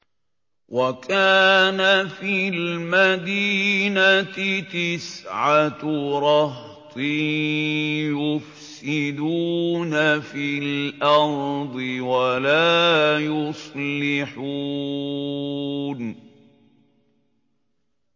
وَكَانَ فِي الْمَدِينَةِ تِسْعَةُ رَهْطٍ يُفْسِدُونَ فِي الْأَرْضِ وَلَا يُصْلِحُونَ